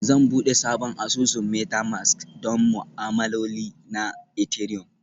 Zan buɗe sabon asusun Metamask don ma'amaloli na Ethereum